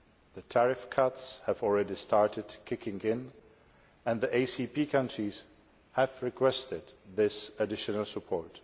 The tariff cuts have already started kicking in, and the ACP countries have requested this additional support.